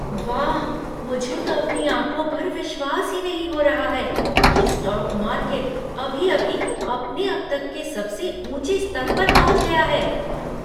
वाह, मुझे तो अपनी आँखों पर विश्वास ही नहीं हो रहा है कि स्टॉक मार्केट अभी अभी अपने अब तक के सबसे ऊँचे स्तर पर पहुँच गया है!